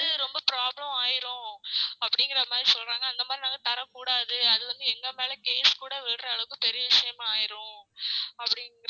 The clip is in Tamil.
அது வந்து ரொம்ப problem ஆயிரும் அப்டிங்கற மாதிரி சொல்றாங்க அந்த மாதிரி நாங்க தர கூடாது அது வந்து எங்க மேல case கூட விழுற அளவுக்கு பெரிய விஷயம் ஆயிரும் அப்டின்குறாங்க